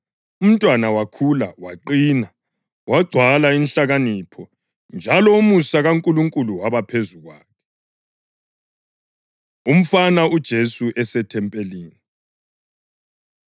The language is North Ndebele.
Umntwana wakhula, waqina; wagcwala inhlakanipho, njalo umusa kaNkulunkulu waba phezu kwakhe. Umfana UJesu EseThempelini